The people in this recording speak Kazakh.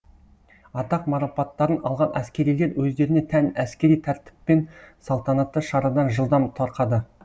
атақ марапаттарын алған әскерилер өздеріне тән әскери тәртіппен салтанатты шарадан жылдам тарқады